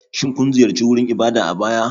Shin kun ziyarci wurin ibada a baya?